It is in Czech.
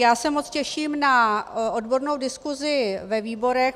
Já se moc těším na odbornou diskuzi ve výborech.